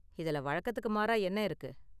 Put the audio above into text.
இதுல வழக்கத்துக்கு மாறா என்ன இருக்கு?